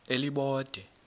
elibode